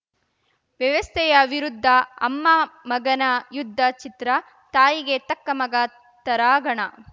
ವ್ಯವಸ್ಥೆಯ ವಿರುದ್ಧ ಅಮ್ಮ ಮಗನ ಯುದ್ಧ ಚಿತ್ರ ತಾಯಿಗೆ ತಕ್ಕ ಮಗ ತರಾಗಣ